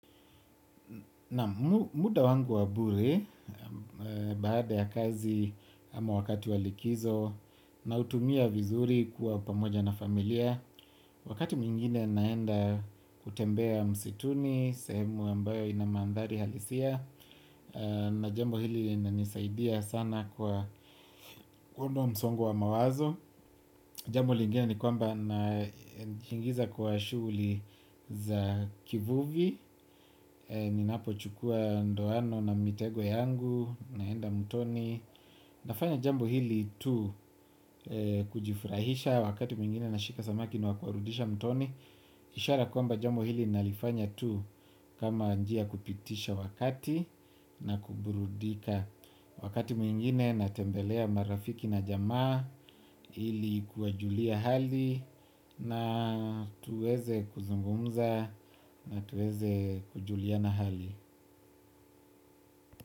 Nam muda wangu wa bure. Baada ya kazi ama wakati wa likizo, nautumia vizuri kuwa pamoja na familia, wakati mwingine naenda kutembea msituni, sehemu ambayo ina mandhari halisia, na jambo hili linanisaidia sana kwa kuunda msongo wa mawazo. Jambo lingine ni kwamba njiingiza kwa shuguli za kivuvi. Ninapochukua ndoano na mitego yangu naenda mtoni. Nafanya jambo hili tu kujifurahisha wakati mwingine nashika samaki na kuwarudisha mtoni. Ishara kwamba jambo hili nalifanya tu kama njia ya kupitisha wakati na kuburudika. Wakati mwingine natembelea marafiki na jamaa ili kuwajulia hali na tuweze kuzungumza na tuweze kujuliana hali.